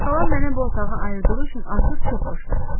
Xalam mənə bu otağı ayırdığı üçün artıq çox xoşbəxtəm.